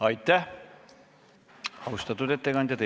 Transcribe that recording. Aitäh, austatud ettekandja!